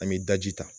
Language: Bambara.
An bɛ daji ta